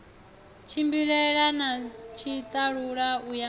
tshimbilelana na tshiṱalula u ya